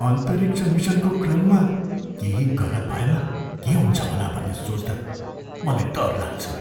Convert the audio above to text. अन्तरिक्ष मिसनको क्रममा केही गलत भएमा के हुन्छ होला भन्ने सोच्दा मलाई डर लाग्छ।